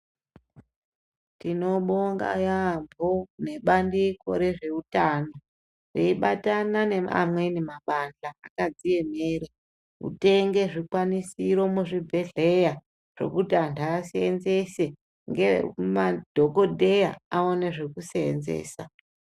Tinobonga yaambo nebandiko rezvehutano ,riyibatana neamweni mabandla akadziyemere kutenge zvikwanisiro muzvibhedleya zvokuti anhu asenzese nemadhokodheya awane zvekusenzesa.